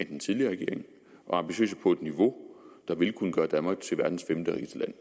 den tidligere regering og ambitiøse på et niveau der vil kunne gøre danmark til verdens femterigeste land